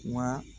Wa